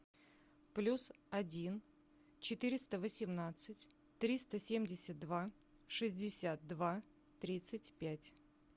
плюс один четыреста восемнадцать триста семьдесят два шестьдесят два тридцать пять